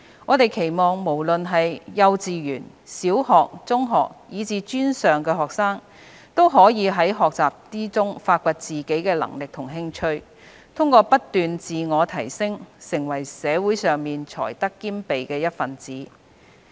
我們期望無論是幼稚園、小學、中學，以至專上學生，都可以在學習中發掘自己的能力和興趣，通過不斷自我提升，成為社會上才德兼備的一分子。